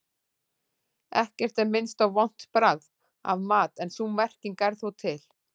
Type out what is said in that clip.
Ekkert er minnst á vont bragð af mat en sú merking er þó til.